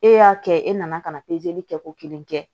E y'a kɛ e nana ka na kɛ ko kelen kɛ